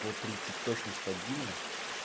по тридцать точно стабильно